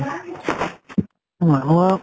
মানুহক